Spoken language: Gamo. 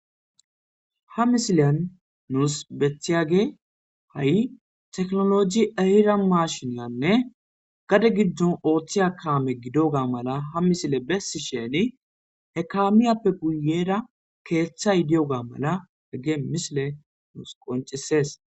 Ha misileyan nuus bethiyage ha7i teknolojie ara maashinanne gade giddon ooththiya kaame gidoga mala ha misile bessi sheeni hekamiyappe guyera keeththa idiyoga mala hegge misile nuus qoncisees.